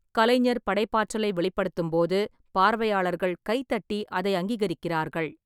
கலைஞர் படைப்பாற்றலை வெளிப்படுத்தும்போது, பார்வையாளர்கள் கைதட்டி அதை அங்கீகரிக்கிறார்கள்.